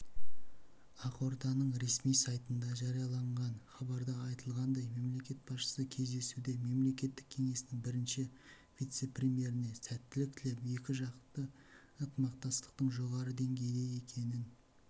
ақорданың ресми сайтында жарияланған хабарда айтылғандай мемлекет басшысы кездесуде мемлекеттік кеңесінің бірінші вице-премьеріне сәттілік тілеп екіжақты ынтымақтастықтың жоғары деңгейде екенін